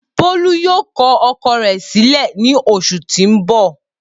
Bolu yoo kọ ọkọ rẹ silẹ ni oṣu ti n bọ